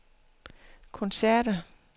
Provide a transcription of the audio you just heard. koncerter